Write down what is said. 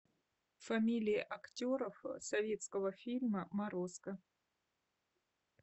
фамилии актеров советского фильма морозко